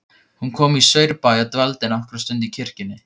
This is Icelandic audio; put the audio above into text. Hún kom í Saurbæ og dvaldi nokkra stund í kirkjunni.